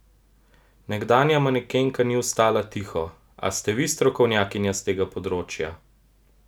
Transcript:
Nekdanja manekenka ni ostala tiho: "A ste vi strokovnjakinja s tega področja?